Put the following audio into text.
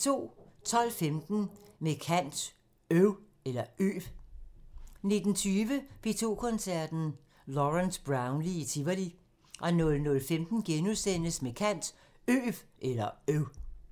12:15: Med kant – Øv 19:20: P2 Koncerten – Lawrence Brownlee i Tivoli 00:15: Med kant – Øv *